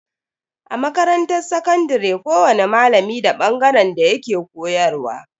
A makarantar sakandare kowani malami da bangaren da yake koyarwa.